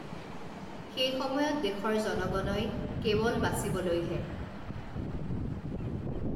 সেই সময়ত দেশৰ জনগণই কে ৱল বাচিবলৈহে